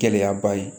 Gɛlɛyaba ye